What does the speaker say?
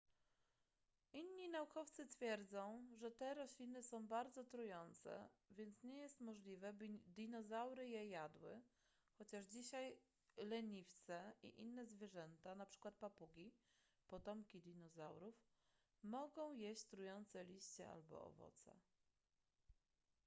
inni naukowcy twierdzą że te rośliny są bardzo trujące więc nie jest możliwe by dinozaury je jadły chociaż dzisiaj leniwce i inne zwierzęta np. papugi potomki dinozaurów mogą jeść trujące liście albo owoce